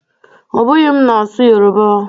Ọ bụghị m na-asụ Yoruba o